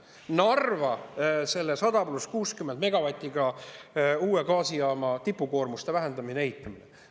Narva 100-megavatise, pluss 60 megavatti uue gaasijaama abil tipukoormuste vähendamine, ehitamine.